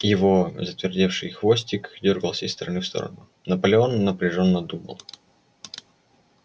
его затвердевший хвостик дёргался из стороны в сторону наполеон напряжённо думал